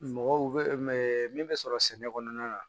Mɔgɔw bɛ min bɛ sɔrɔ sɛnɛ kɔnɔna na